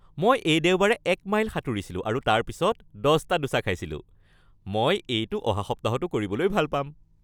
মই এই দেওবাৰে ১ মাইল সাঁতুৰিছিলো আৰু তাৰপিছত ১০টা ডোছা খাইছিলোঁ। মই এইটো অহা সপ্তাহতো কৰিবলৈ ভাল পাম।